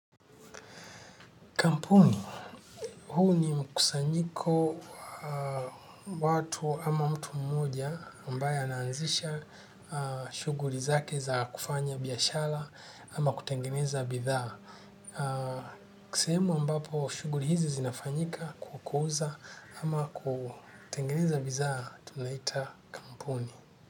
Kampuni, huu ni mkusanyiko wa watu ama mtu mmoja ambaye anaanzisha shuguhuli zake za kufanya biashara ama kutengeneza bidhaa. Sehemu ambapo shughuli hizi zinafanyika kukuza ama kutengeneza bidhaa tunaita kampuni.